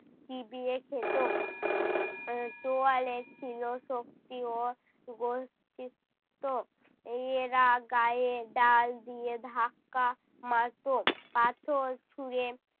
চিবিয়ে খেত। আহ চোয়ালে ছিল শক্তি ও গশ্চিত্ত। এরা গায়ে ডাল দিয়ে ধাক্কা মারতো, পাথর ছুঁড়ে